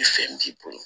Ni fɛn b'i bolo